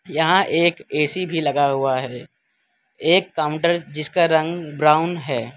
यहां एक ए_सी भी लगा हुआ है एक काउंटर जिसका रंग ब्राउन है।